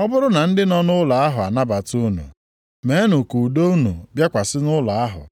Ọ bụrụ na ndị nọ nʼụlọ ahụ anabata unu, meenụ ka udo unu bịakwasị nʼụlọ ahụ.